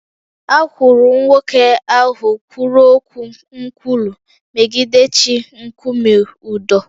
A kwụrụ nwoke ahụ kwuru okwu nkwulu megide chi nkume ụdọ